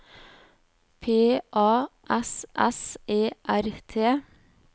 P A S S E R T